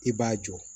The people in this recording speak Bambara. I b'a jɔ